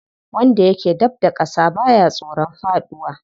Wanda yake dab da ƙasa baya tsoron faɗuwa.